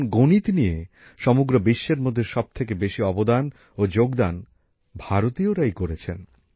কারণ গণিত নিয়ে সমগ্র বিশ্বের মধ্যে সবথেকে বেশি অবদান ও যোগদান ভারতীয়রাই করেছেন